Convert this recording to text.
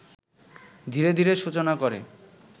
ধীরে ধীরে সূচনা করে